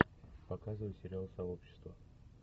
показывай сериал сообщество